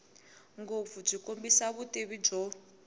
ngopfu byi kombisa vutivi byo